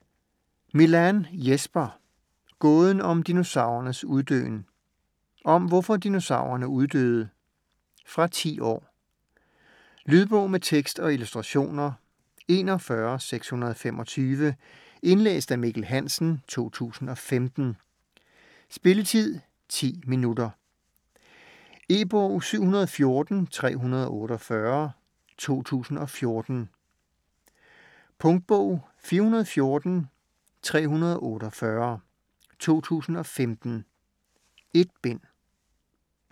Milàn, Jesper: Gåden om dinosaurernes uddøen Om hvorfor dinosaurerne uddøde. Fra 10 år. Lydbog med tekst og illustrationer 41625 Indlæst af Mikkel Hansen, 2015. Spilletid: 0 timer, 10 minutter. E-bog 714348 2014. Punktbog 414348 2015. 1 bind.